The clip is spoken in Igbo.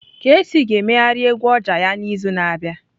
Kcee ga-emegharị egwu oja ya n'izu na-abịa.